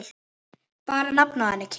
Bara nafnið á henni, Kim.